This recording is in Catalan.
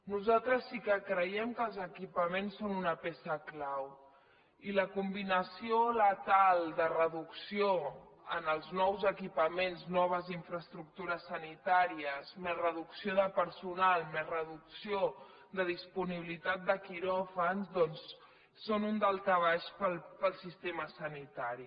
nosaltres sí que creiem que els equipaments són una peça clau i la combinació letal de reducció en els nous equipaments noves infraestructures sanitàries més reducció de personal més reducció de disponibilitat de quiròfan doncs és un daltabaix per al sistema sanitari